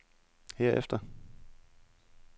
herefter